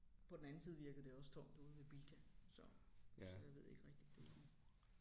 På den anden side virkede det også tomt ude ved Bilka så så jeg ved ikke rigtig derovre